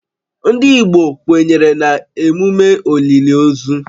Ndị Igbo kwenyere na emume olili ozu